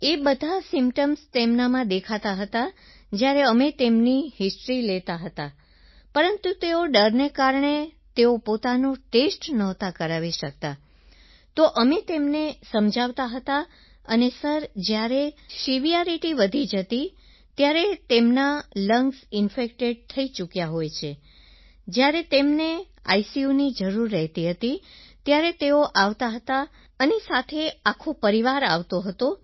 એ બધા સિમ્પટોમ્સ તેમનામાં દેખાતા હતા જ્યારે અમે તેમની હિસ્ટોરી લેતા હતા પરંતુ તેઓ ડરને કારણે તેઓ પોતાનો ટેસ્ટ નહોતા કરાવી શકતા તો અમે તેમને સમજાવતા હતા અને સર જ્યારે સેવરિટી વધી જતી હતી ત્યારે તેમના લંગ્સ એલરેડી ઇન્ફેક્ટેડ થઈ ચૂક્યા હોય છે ત્યારે તેમને આઈસીયુની જરૂર રહેતી હતી ત્યારે તેઓ આવતા હતા અને સાથે આખો પરિવાર આવતો હતો